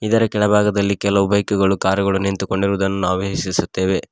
ಇದರ ಕೆಳಭಾಗದಲ್ಲಿ ಕೆಲವು ಬೈಕು ಗಳು ಕಾರ್ ಗಳು ನಿಂತುಕೊಂಡಿರುವುದನ್ನು ನಾವು ವೀಶಿಸುತ್ತೇವೆ.